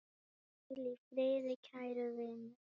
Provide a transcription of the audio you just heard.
Hvíl í friði, kæri vinur.